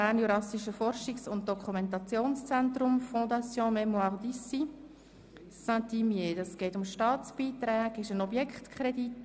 Bei Traktandum 14 handelt es sich um einen Objektkredit.